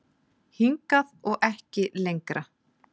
Hingað og ekki lengra